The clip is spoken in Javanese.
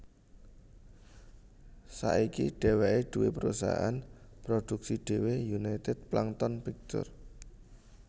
Saiki dheweke duwé prusahaan produksi dhewe United Plankton Pictures